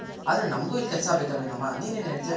ಆದ್ರೆ ನಮಗೂ ಇಲ್ ಕೆಲ್ಸ ಬೆಕಲ್ವೇನಮ್ಮ ನೀನ್ ಏನ್ ಹೇಳ್ತ್ಯ.